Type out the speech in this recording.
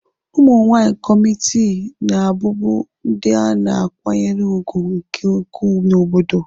Ụmụ nwanyị kọmitii na-abụbu ndị a na-akwanyere ùgwù nke ukwuu n'obodo.